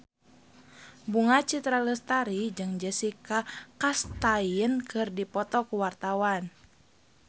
Bunga Citra Lestari jeung Jessica Chastain keur dipoto ku wartawan